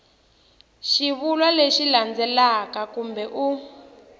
xivulwa lexi landzelaka kambe u